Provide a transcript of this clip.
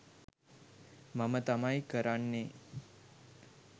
මම තමයි කරන්නේ.